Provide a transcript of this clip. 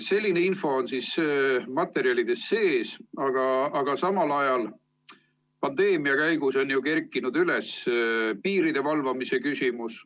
Selline info on materjalides sees, aga samal ajal on pandeemia käigus ju kerkinud üles piiride valvamise küsimus.